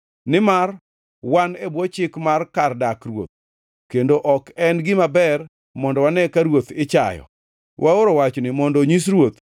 Nimar wan e bwo chik mar kar dak ruoth kendo ok en gima ber mondo wane ka ruoth ichayo, waoro wachni mondo onyis ruoth,